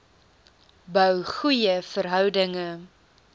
bou goeie verhoudinge